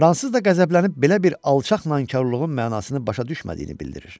Fransız da qəzəblənib belə bir alçaq nankarlığın mənasını başa düşmədiyini bildirir.